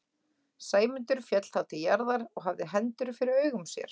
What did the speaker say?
Sæmundur féll þá til jarðar og hafði hendur fyrir augum sér.